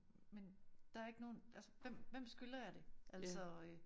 Men der ikke nogen altså hvem hvem skylder jeg det altså øh